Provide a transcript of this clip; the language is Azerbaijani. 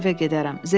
Sonra evə gedərəm.